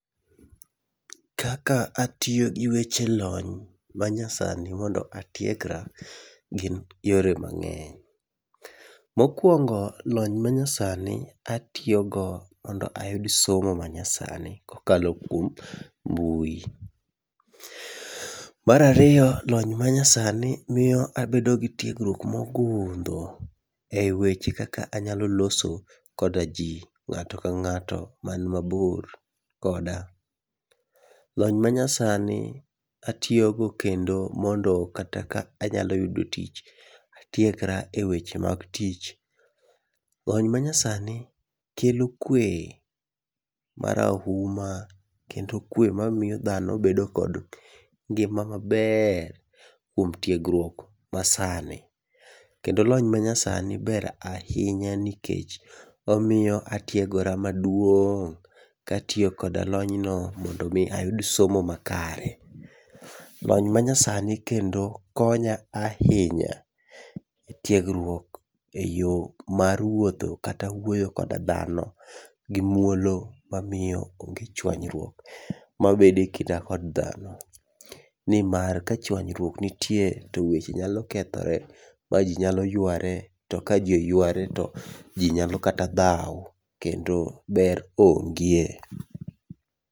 Kaka atiyo gi weche lony manyasani mondo atiegra gin yore mang'eny. Mokuongo lony manyasani atiyogo mondo ayud somo manyasani kokalo kuom mbui. Mar ariyo lony manyasani miyo abedo gi tiegruok mogundho eweche kaka anyalo loso kodaji, ng'ato kang'ato man mabor koda. Lony manyasani atiyogo kendo mondo kata ka anyalo yudo tich, atiekra eweche mag tich. Lony manyasani kelo kwe marauma, kendo kwe mamiyo dhano bedo kod ngima maber kuom tiegruok masani. Kendo lony manyasani ber ahinya nikech omiyo atiegora maduong' katiyo koda lony no mondo mi ayud somo makare. Lony manyasani kendo konya ahinya etiegruok eyo mar wuotho to awuoyo koda dhano gimuolo mamiyo onge chuanyruok mabedo ekinda kod dhano, nimar ka chuanyruok nitie to weche nyalo kethore ma ji nyalo yuare, to kaji oyuare to ji nyalo kata dhaw kendo ber onge.